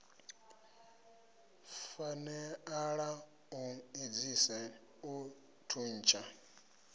faneala u edzisa u thuntsha